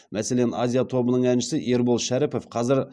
мәселен азия тобының әншісі ербол шәріпов қазір